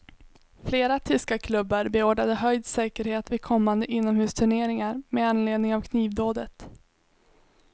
Flera tyska klubbar beordrade höjd säkerhet vid kommande inomhusturneringar med anledning av knivdådet.